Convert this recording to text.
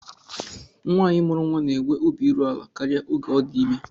Nwaanyi mụrụ nnwa na-enwe obi iru ala karịa oge ọ dị ime